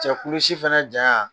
Cɛkulusi fana ja